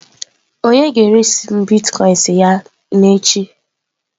Onye ga-eresi m Bitkoinsị ya n'echi?